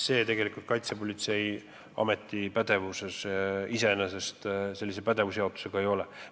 Selle jaotuse kohaselt selline järelevalve tegelikult Kaitsepolitseiameti pädevuses iseenesest ei ole.